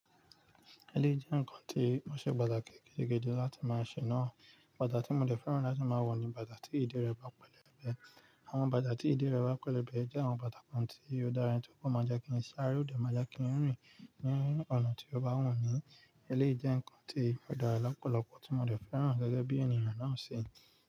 Elé jẹ́ nǹkan tí ó ṣe bàláké gidi gan-an láti máa ṣè náà. Bàtá tí mo dẹ̀ fẹ́ràn láti máa wọ̀ ni bàtá tí ìdé rẹ̀ bá pẹlẹbẹ. Àwọn bàtà tí ìdé rẹ̀ bá pẹlẹbẹ jẹ́ àwọn bàtà kan tí olùdárin tí ó kọ́ máa jẹ kin-ìn sí á rí òde máa jẹ kin-ìn rìn ní ọ̀nà tí ó bá wọ̀n ni. Elé jẹ́ nǹkan tí ó dárá lọ́pọ̀lọpọ̀ tí mo dẹ̀ fẹ́ràn gẹ́gẹ́ bí ènìyàn náà ṣè.